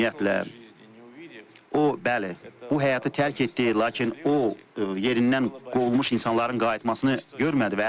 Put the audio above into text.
Ümumiyyətlə, o, bəli, bu həyatı tərk etdi, lakin o yerindən qovulmuş insanların qayıtmasını görmədi.